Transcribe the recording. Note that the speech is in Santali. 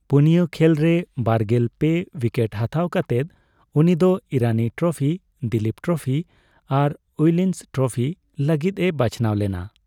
ᱯᱳᱱᱭᱟ ᱠᱷᱮᱞ ᱨᱮ ᱵᱟᱨᱜᱮᱞ ᱯᱮ ᱩᱭᱠᱮᱴ ᱦᱟᱛᱟᱣ ᱠᱟᱛᱮᱫ ᱩᱱᱤ ᱫᱚ ᱤᱨᱟᱱᱤ ᱴᱨᱚᱯᱷᱤ, ᱫᱤᱞᱤᱯ ᱴᱨᱚᱯᱷᱤ ᱟᱨ ᱩᱭᱤᱞᱥ ᱴᱨᱚᱯᱷᱤ ᱞᱟᱹᱜᱤᱫ ᱮ ᱵᱟᱪᱷᱱᱟᱣ ᱞᱮᱱᱟ ᱾